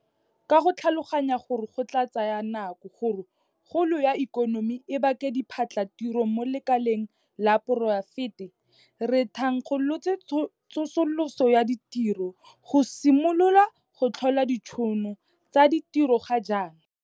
Ka go tlhaloganya gore go tla tsaya nako gore kgolo ya ikonomi e bake diphatlhatiro mo lekaleng la poraefete, re thankgolotse tsosoloso ya ditiro go simolola go tlhola ditšhono tsa ditiro ga jaana.